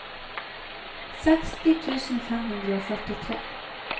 seksti tusen fem hundre og førtitre